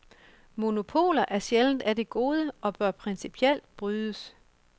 Monopoler er sjældent af det gode og bør principielt brydes.